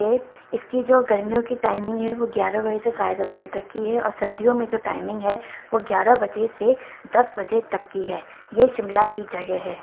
इसकी जो गर्मियों की टाइमिंग है वो ग्यारह बजे से साढेदस बजे तक की है और सर्दियों में जो टाइमिंग है वो ग्यारह बजे दस से बजे तक की है ये शिमला की जगह है।